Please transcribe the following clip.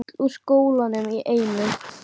Þau fara öll úr skónum í einu.